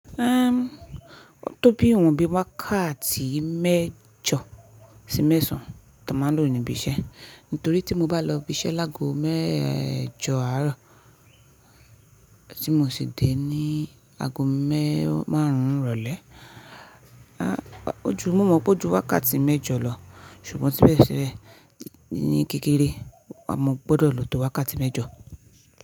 Ehn, ó tó bí ìwọ̀n bí wákàtí méjọ sí mẹ́sàn tí a máa lò níbi iṣẹ́. Nítorí tí mo bá lọ ibi iṣẹ́ lágo méjọ àárọ̀ tí mo sì dé ní ago márùn-ún ìrọ̀lẹ́. Ah, ojú mo mọ̀ pé ó ju wákàtí méjọ lọ, ṣùgbọ́n sibẹ̀sibe ní kékeré, a máa gbọ́dọ̀ lò tó wákàtí méjọ.